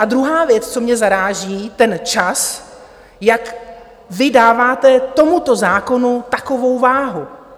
A druhá věc, co mě zaráží, ten čas, jak vy dáváte tomuto zákonu takovou váhu.